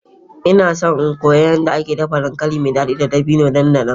Ina so in koyi yadda ake yin dankali mai dadi da dabino nan da nan.